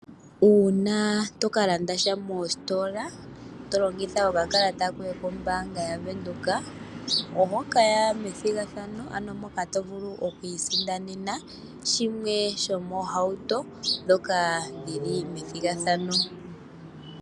Uuna to kalandasha moositola to longitha okakalata koye kombaanga ya Venduka, oho kaya methigathano, ano moka tovulu oku isindanena shimwe shomiihauto mbyoka yili methigathano.